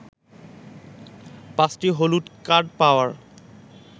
পাঁচটি হলুদ কার্ড পাওয়ায়